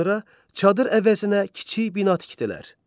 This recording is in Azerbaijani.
Sonra çadır əvəzinə kiçik bina tikdilər.